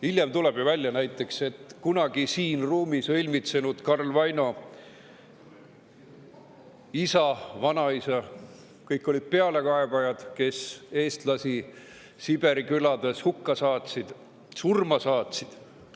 Hiljem tuleb ju välja näiteks see, et kunagi siin ruumis õilmitsenud Karl Vaino isa ja vanaisa, kõik olid pealekaebajad, kes eestlasi Siberi külades hukka saatsid, surma saatsid.